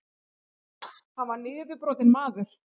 Hann var niðurbrotinn maður.